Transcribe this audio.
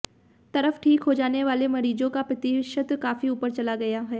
तरफ ठीक होने वाले मरीजों का प्रतिशत काफी ऊपर चला गया है